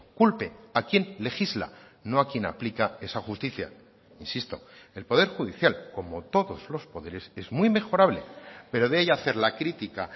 culpe a quien legisla no a quien aplica esa justicia insisto el poder judicial como todos los poderes es muy mejorable pero de ahí a hacer la crítica